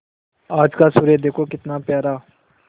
आज का सूर्य देखो कितना प्यारा